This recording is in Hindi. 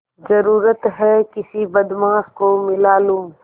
जरुरत हैं किसी बदमाश को मिला लूँ